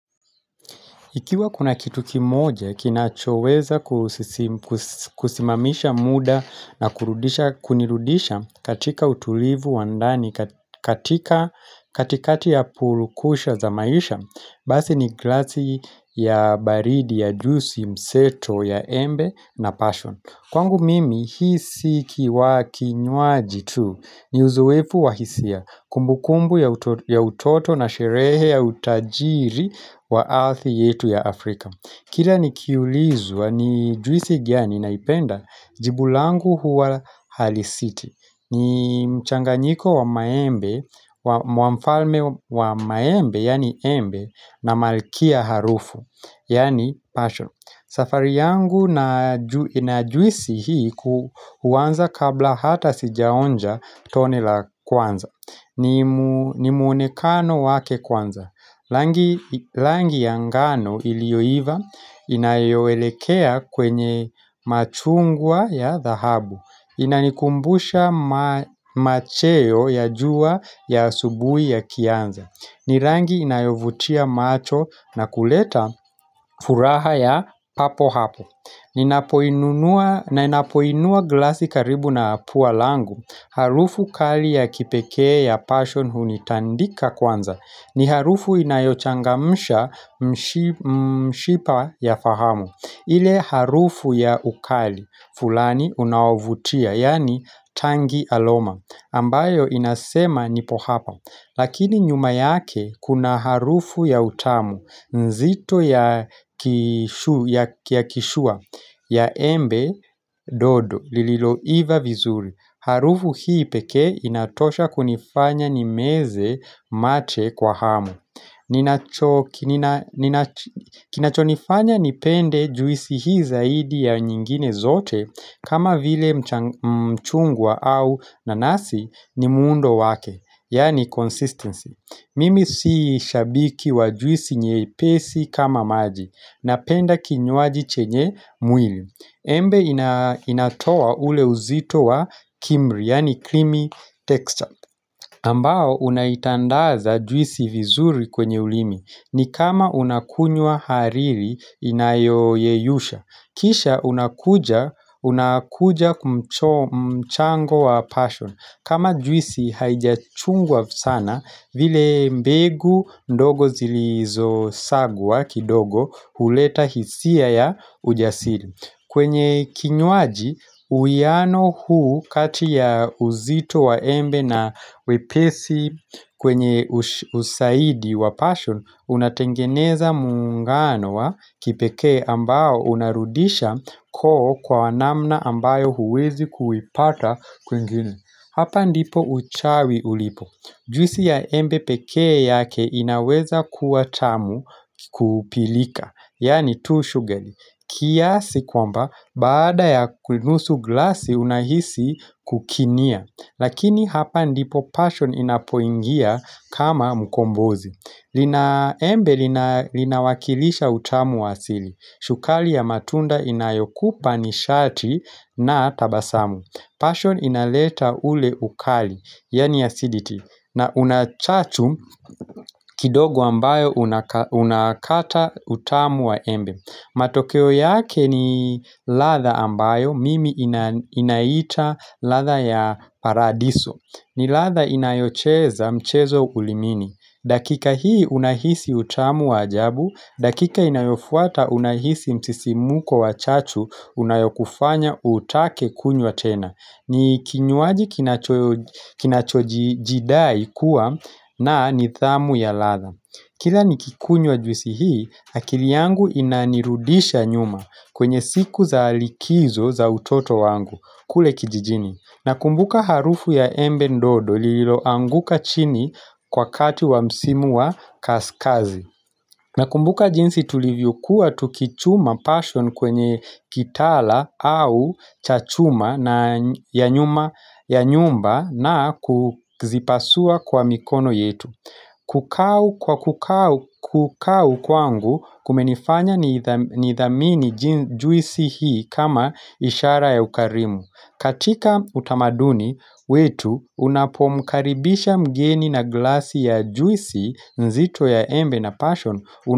Ikiwa kuna kitu kimoja, kinachoweza kusis kusimamisha muda na kunirudisha katika utulivu wandani, katika katikati ya purukusha za maisha, basi ni glasi ya baridi ya juisi, mseto ya embe na passion. Kwangu mimi, hii si kiwa kinywaji tu ni uzoefu wahisia kumbukumbu ya utoto na sherehe ya utajiri wa earth yetu ya Afrika. Kila ni kiulizwa ni juisi gani naipenda jibu langu huwa Harley City. Ni mchanganyiko wa maembe, wa mfalme wa maembe, yaani embe, na malkia harufu, yaani passion safari yangu inajuisi hii kuanza kabla ata sijaonja tone la kwanza. Ni muonekano wake kwanza rangi. Rangi ya ngano iliyoiva inayoelekea kwenye machungwa ya dhahabu. Inanikumbusha macheo ya jua ya asubuhi ya kianza ni rangi inayovutia macho na kuleta furaha ya papo hapo Ninapoinua glasi karibu na pua langu Harufu kali ya kipekee ya passion hunitandika kwanza ni harufu inayochangamsha mshipa ya fahamu ile harufu ya ukali, fulani unaovutia, yaani tangi aloma, ambayo inasema nipo hapa, lakini nyuma yake kuna harufu ya utamu, nzito ya kishua, ya embe dodo, lililoiva vizuri. Harufu hii pekee inatosha kunifanya nimeze mate kwa hamu kina cho nifanya nipende juisi hii zaidi ya nyingine zote kama vile mchungwa au nanasi ni muundo wake Yaani consistency Mimi si shabiki wa juisi nyepesi kama maji Napenda kinywaji chenye mwili Embe inatoa ule uzito wa kimri, yaani krimi texture. Ambao unaitandaza juisi vizuri kwenye ulimi. Ni kama unakunywa hariri inayoyeyusha. Kisha unakuja kumchango wa passion. Kama juisi haijachungwa sana vile mbegu ndogo zilizo sagwa kidogo huleta hisia ya ujasiri. Kwenye kinywaji uwiano huu kati ya uzito wa embe na wepesi kwenye uzaidi wa passion Unatengeneza muungano wa kipekee ambao unarudisha koo kwa namna ambayo huwezi kuipata kwingine Hapa ndipo uchawi ulipo Juisi ya embe pekee yake inaweza kuwa tamu kupilika Yaani too shugali kiasi kwamba, baada ya kuinusu glasi unahisi kukinia Lakini hapa ndipo passion inapoingia kama mkombozi Linaembe linawakilisha utamu wasili Shukari ya matunda inayokupa nishati na tabasamu Passion inaleta ule ukali, yaani acidity na unachachu kidogo ambayo unakata utamu wa embe matokeo yake ni ladha ambayo, mimi inaita ladha ya paradiso ni ladha inayocheza mchezo ulimini dakika hii unahisi utamu wajabu dakika inayofuata unahisi msisimko wachachu Unayokufanya utake kunywa tena ni kinywaji kinachojidai kuwa na nidhamu ya ladha Kila nikikunywa juisi hii, akili yangu inanirudisha nyuma kwenye siku za alikizo za utoto wangu, kule kijijini. Nakumbuka harufu ya embe ndodo lililoanguka chini kwa kati wa msimu wa kaskazi. Nakumbuka jinsi tulivyokuwa tukichuma passion kwenye kitaala au chachuma na ya nyumba na kuzipasua kwa mikono yetu. Kukau kwa kukau kwangu kumenifanya ni idhamini juisi hii kama ishara ya ukarimu katika utamaduni wetu unapomkaribisha mgeni na glasi ya juisi nzito ya embe na passion.